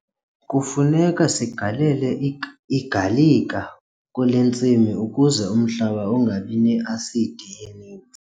Kufuneka sigalele igalika kule ntsimi ukuze umhlaba ungabi ne-asidi eninzi.